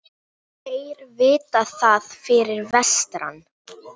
Þeir vita það fyrir vestan